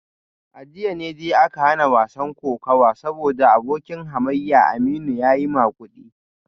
A jiya ne dai aka hana wasan kokawa saboda abokin hamayyar Aminu ya yi magudi